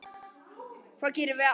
Hvað gerum við án þín?